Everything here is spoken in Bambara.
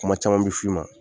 Kuma caman bi f'i i ma.